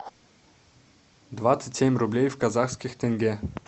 двадцать семь рублей в казахских тенге